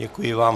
Děkuji vám.